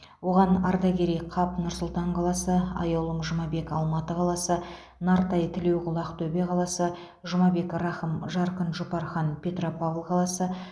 оған ардакерей қап нұр сұлтан қаласы аяулым жұмабек алматы қаласы нартай тілеуқұл ақтөбе қаласы жұмабек рахым жарқын жұпархан петропавл қаласы